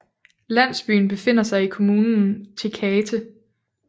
Landsbyen befinder sig i kommunen Tecate